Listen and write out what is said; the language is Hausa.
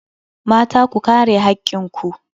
Mata, ku kare hakkin ku.